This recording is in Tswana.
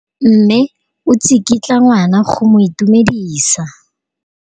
Mme o tsikitla ngwana go mo itumedisa.